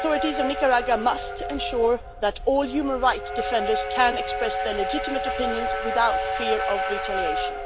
The authorities of Nicaragua must ensure that all human rights defenders can express their legitimate opinions without fear of retaliation.